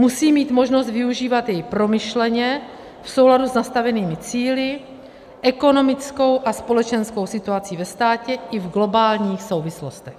Musí mít možnost využívat jej promyšleně v souladu s nastavenými cíli, ekonomickou a společenskou situací ve státě i v globálních souvislostech.